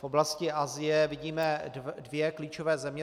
V oblasti Asie vidíme dvě klíčové země.